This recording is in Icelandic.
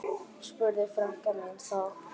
spurði frænka mín þá.